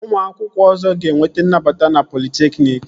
Ụmụ akwụkwọ ọzọ ga-enweta nnabata na politekniki